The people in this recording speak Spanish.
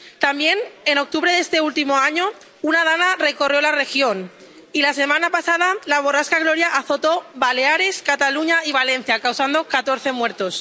También, en octubre de este último año, una DANA recorrió la región y la semana pasada la borrasca Gloria azotó Baleares, Cataluña y Valencia, causando catorce muertos.